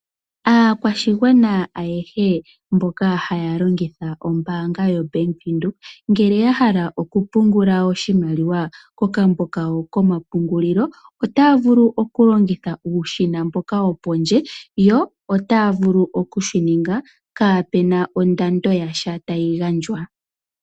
Aakwashigwana ayehe mboka haya longitha ombaanga yo Bank Windhoek, ngele ya hala oku pungula oshimaliwa kokambo kawo ko ma pungulilo, otaya vulu oku longitha uushina mboka wo pondje, yo otaya vulu oku shi ninga kapena ondando yasha tayi gandjwa.